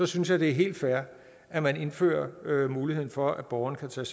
synes jeg det er helt fair at indføre muligheden for at borgerne kan tage